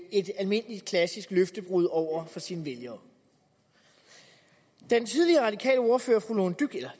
et almindeligt klassisk løftebrud over for sine vælgere den tidligere radikale ordfører fru lone dybkjær